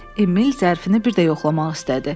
Emil zərfini bir də yoxlamaq istədi.